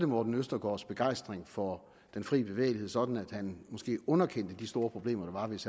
morten østergaards begejstring for den frie bevægelighed sådan at han måske underkendte de store problemer der var hvis